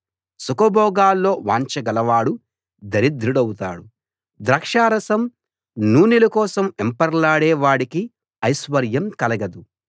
సుఖభోగాల్లో వాంఛ గలవాడు దరిద్రుడౌతాడు ద్రాక్షారసం నూనెల కోసం వెంపర్లాడే వాడికి ఐశ్వర్యం కలగదు